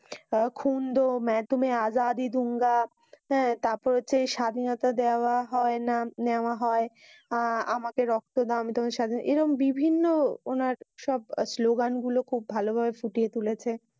আহ খুন্ড মে তোমে আজাদী দে দুঙ্গা। আহ তারপর হচ্ছে স্বাধীনতা দেওয়া হয় না নেওয়া হয়। আহ আমাকে রক্ত দাও আমি তোমাকে স্বাধীনতা বিদ। এই রকম বিভিন্ন উনার সব স্লোগান গুলো ভালভাবে পুঁটিয়ে তুলেছে।